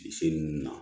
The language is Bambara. Se nun na